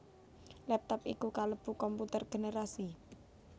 Laptop iku kalebu komputer generasi